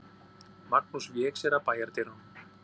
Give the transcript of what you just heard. Magnús vék sér að bæjardyrunum.